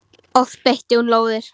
Oft beitti hún lóðir.